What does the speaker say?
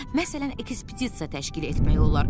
Məsələn, ekspedisiya təşkil etmək olar.